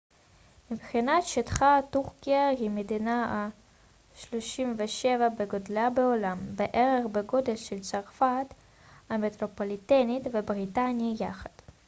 מבחינת שטחה טורקיה היא מדינה ה-37 בגודלה בעולם בערך בגודל של צרפת המטרופוליטנית ובריטניה יחד